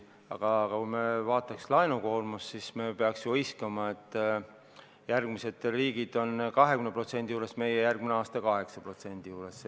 Aga kui me vaatame laenukoormust, siis me peame ju hõiskama, sest järgmised riigid on 20% juures, meie oleme järgmine aasta 8% protsendi juures.